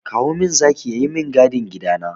Kowa min zaki ya yi min gadin gida na!